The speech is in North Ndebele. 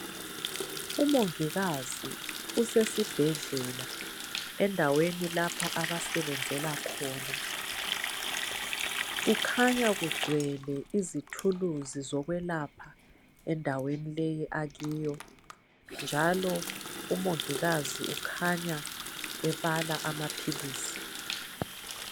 Umongikazi usesibhedlela endaweni lapha abasebenzela khona kukhanya kugcwele izithuluzi zokwelapha endaweni le akiyo njalo umongikazi ukhanya ebala amaphilisi